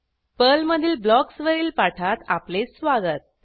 पर्लमधील ब्लॉक्स वरील पाठात आपले स्वागत